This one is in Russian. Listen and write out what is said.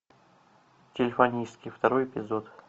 телефонистки второй эпизод